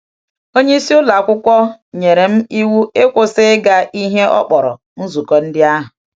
Onye isi ụlọ akwụkwọ nyere m iwu ịkwụsị ịga ihe ọ kpọrọ ‘nzukọ ndị ahụ.’